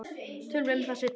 Tölum um það seinna.